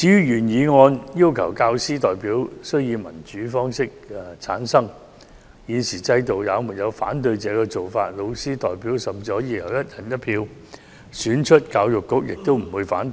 原議案要求教師代表須以民主方式產生，在現行制度下，老師代表甚至可以由"一人一票"選出，教育局也不會反對。